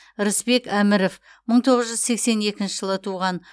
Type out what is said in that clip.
рысбек әміров мың тоғыз жүз сексен екінші жылы туған